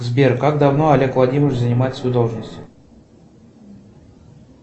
сбер как давно олег владимирович занимает свою должность